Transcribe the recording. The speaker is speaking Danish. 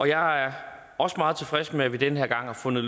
jeg er også meget tilfreds med at vi den her gang har fundet